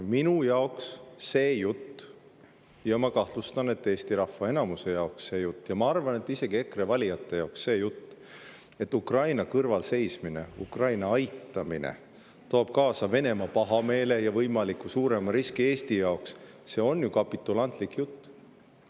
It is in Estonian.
Minu jaoks see jutt – ja ma kahtlustan, et Eesti rahva enamuse jaoks, ja ma arvan, et isegi EKRE valijate jaoks –, et Ukraina kõrval seismine, Ukraina aitamine toob kaasa Venemaa pahameele ja võimaliku suurema riski Eesti jaoks, on ju kapitulantlik jutt.